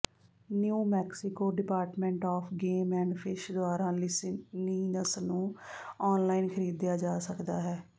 new Mexico department of game and fish ਦੁਆਰਾ licenses ਨੂੰ online ਖਰੀਦਿਆ ਜਾ ਸਕਦਾ ਹੈ